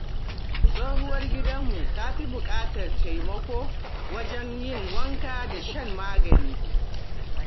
Tsohuwar gidanmu ta fi buƙatar taimako wajen yin wanka da shan magani.